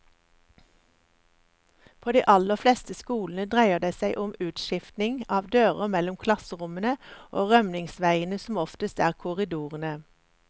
På de aller fleste skolene dreier det seg om utskiftning av dører mellom klasserommene og rømningsveiene som oftest er korridorene.